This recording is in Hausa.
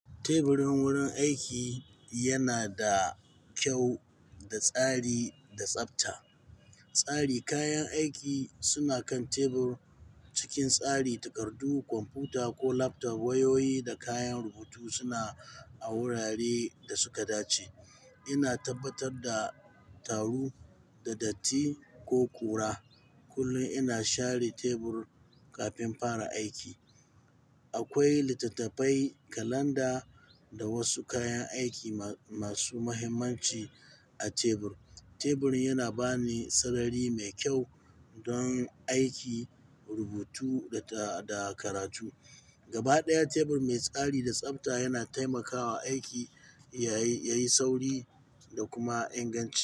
Teburin wurin aiki yana da kyau, da tsari da tsafta. Tsari kayan aiki suna kan tebur cikin tsari, takardu, kwamfuta ko laptop, wayoyi da kayan rubutu suna a wuraren da suka dace. Ina tabbatar da taru da datti ko ƙura kullum ina share tebur kafin fara aiki. Akwai littattafai, kalanda da wasu kayan aiki ma-masu mahimmanci a tebur. Teburin yana bani sarari mai kyau don aiki, rubutu da, da karatu. Gaba ɗaya tebur mai tsari da tsafta yana taimakawa aiki yayi, yayi sauri da kuma inganci.